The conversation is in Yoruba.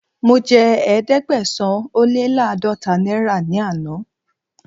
Mo jẹ Ẹ̀ẹ́dẹ̀gbẹ̀sán-ó-lé-láàdọ́ta náírà ní àná.